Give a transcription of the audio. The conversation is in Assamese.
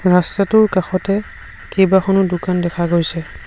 ৰাস্তাটোৰ কাষতে কেইবাখনো দোকান দেখা গৈছে।